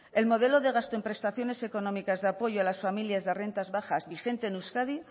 el modelo de gasto de prestaciones económicas de apoyo a las familias de rentas bajas vigente en euskadi